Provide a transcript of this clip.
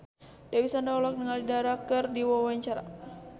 Dewi Sandra olohok ningali Dara keur diwawancara